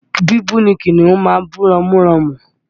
Bíbú ni kìnnìún máa ń bú ramúramù